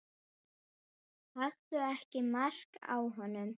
Taktu ekki mark á honum.